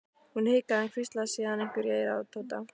Hún hikaði en hvíslaði síðan einhverju í eyrað á Tóta.